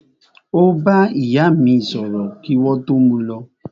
Ó bá ìyá mí sọ̀rọ̀ kí wọ́n tó mú u lọ.